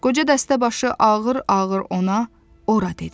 Qoca dəstəbaşı ağır-ağır ona ora dedi.